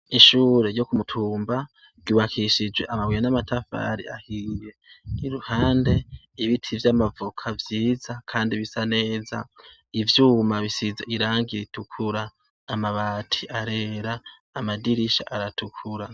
Ishuri ryo kumutumba ryubakishije amabuye n'amatafari ahiye n'iruhande ibiti vyama voka vyiza kandi bisa neza ivyuma bisize irangi ritukura amabati arera amadirisha aratukura.